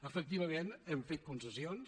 efectivament hem fet concessions